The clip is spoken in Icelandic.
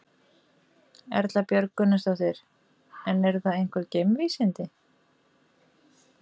Erla Björg Gunnarsdóttir: En eru það einhver geimvísindi?